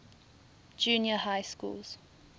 junior high schools